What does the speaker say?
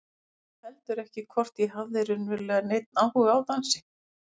Ég veit heldur ekki hvort ég hafði raunverulega neinn áhuga á dansi.